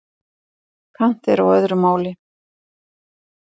Kant er á öðru máli.